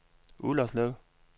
Ullerslev